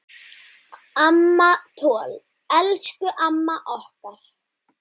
Amma Toll, elsku amma okkar.